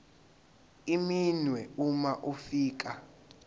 iminwe uma ufika